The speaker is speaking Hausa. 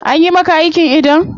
Anyi maka aikin idon?